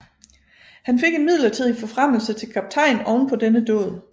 Han fik en midlertidig forfremmelse til kaptajn oven på denne dåd